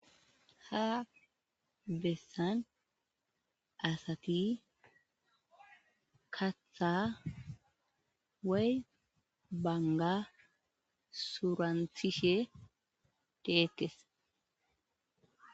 ha bessan asati katha way banga suranthishe deekes